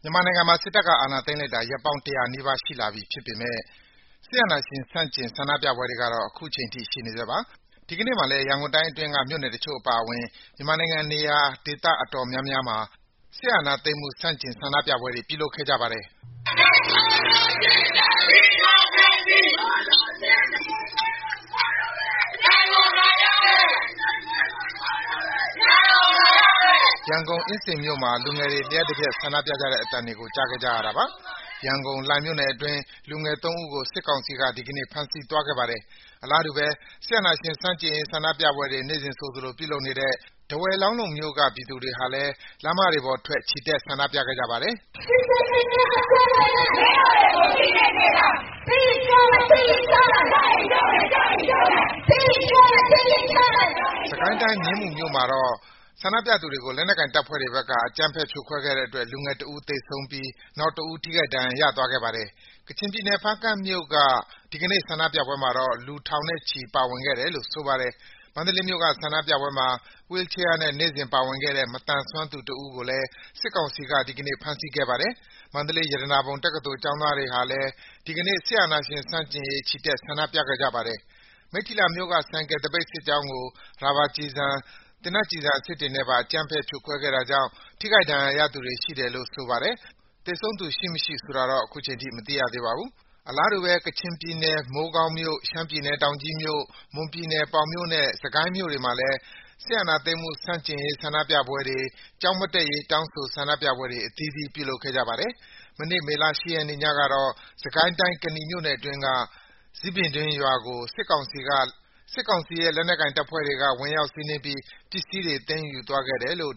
မြန်မာနိုင်ငံမှာ စစ်တပ်က အာဏာသိမ်းလိုက်တာ ရက်ပေါင်း ၁၀၀ နီးပါး ရှိလာပြီဖြစ်ပေမယ့် စစ်အာဏာရှင်ဆန့်ကျင် ဆန္ဒပြပွဲတွေကတော့ အခုချိန်ထိ ရှိနေဆဲပါ။ ဒီကနေ့မှာလည်း ရန်ကုန်တိုင်းအတွင်းက မြို့နယ်တချို့ အပါအဝင် မြန်မာနိုင်ငံ နေရာဒေသ အတော်များများမှာ စစ်အာဏာသိမ်းမှုဆန့်ကျင် ဆန္ဒပြပွဲတွေ ပြုလုပ်ခဲ့ကြပါတယ်။ ရန်ကုန်၊ အင်းစိန်မြို့နယ်မှာ လူငယ်တွေ လျှပ်တပြက် ဆန္ဒပြခဲ့ကြတဲ့ အသံတွေကို ကြားခဲ့ကြရတာပါ။ ရန်ကုန်၊ လှိုင်မြို့နယ်အတွင်း လူငယ် ၃ ဦးကို စစ်ကောင်စီက ဒီကနေ့ ဖမ်းဆီးသွားခဲ့ပါတယ်။ အလားတူပဲ စစ်အာဏာရှင်ဆန့်ကျင်ရေး ဆန္ဒပြပွဲတွေ နေ့စဉ်ဆိုသလို ပြုလုပ်နေတဲ့ ထားဝယ်၊ လောင်းလုံမြို့က ပြည်သူတွေဟာ ဒီကနေ့မှာလည်း လမ်းမတွေပေါ်ထွက် ချီတက် ဆန္ဒပြခဲ့ကြပါတယ်။ စစ်ကိုင်းတိုင်း၊ မြင်းမူမြို့မှာတော့ ဆန္ဒပြပြည်သူတွေကို လက်နက်ကိုင်တပ်ဖွဲ့တွေဘက်က အကြမ်းဖက် ဖြိုခွဲခဲ့တဲ့အတွက် လူငယ်တဦး သေဆုံးပြီး နောက်တဦး ထိခိုက်ဒဏ်ရာရသွားခဲ့ပါတယ်။ ကချင်ပြည်နယ်၊ ဖားကန့်မြို့က ဒီကနေ့ ဆန္ဒပြပွဲမှာတော့ လူထောင်နဲ့ချီ ပါဝင်ခဲ့တယ်လို့ ဆိုပါတယ်။ မန္တလေးမြို့က ဆန္ဒပြပွဲတွေမှာ Wheel chair နဲ့ နေ့စဉ်ပါဝင်ခဲ့တဲ့ မသန်စွမ်းသူတဦးကိုလည်း စစ်ကောင်စီက ဒီကနေ့ ဖမ်းဆီးခဲ့ပါတယ်။ မန္တလေး ရတနာပုံတက္ကသိုလ်ကျောင်းသားတွေလည်း ဒီကနေ့ စစ်အာဏာရှင်ဆန့်ကျင်ရေး ချီတက် ဆန္ဒပြခဲ့ကြပါတယ်။ မိတ္ထီလာမြို့က ဆိုင်ကယ်သပိတ်စစ်ကြောင်းကို ရာဘာကျည်ဆန်၊ သေနတ်ကျည်ဆန် အစစ်တွေနဲ့ပါ အကြမ်းဖက် ဖြိုခွဲခဲ့တာကြောင့် ထိခိုက်ဒဏ်ရာရသူတွေ ရှိတယ်လို့ ဆိုပါတယ်။ သေဆုံးသူရှိမရှိ ဆိုတာတော့ မသိရသေးပါဘူး။ အလားတူပဲ ကချင်ပြည်နယ် မိုးကောင်းမြို့၊ ရှမ်းပြည်နယ် တောင်ကြီးမြို့၊ မွန်ပြည်နယ် ပေါင်မြို့နဲ့ စစ်ကိုင်းမြို့တွေမှာလည်း စစ်အာဏာသိမ်းမှု ဆန့်ကျင်ရေး ဆန္ဒပြပွဲတွေ၊ ကျောင်းမတက်မရေး တောင်းဆို ဆန္ဒပြပွဲတွေ အသီးသီး ပြုလုပ်ခဲ့ကြပါတယ်။ မနေ့ မေလ ၈ ရက်နေ့ညကတော့ စစ်ကိုင်းတိုင်း၊ ကနီမြို့နယ်အတွင်းက ဇီးပင်တွင်းရွာကို စစ်ကောင်စီရဲ့ လက်နက်ကိုင်တပ်ဖွဲ့တွေက ဝင်ရောက်စီးနင်းပြီး ပစ္စည်းတွေ သိမ်းယူသွားတယ်လို့